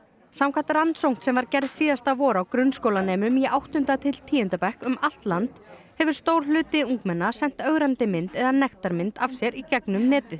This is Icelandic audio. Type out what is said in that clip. samkvæmt rannsókn sem var gerð síðasta vor á grunnskólanemum í áttunda til tíunda bekk um allt land hefur stór hluti ungmenna sent ögrandi mynd eða nektarmynd af sér í gegnum netið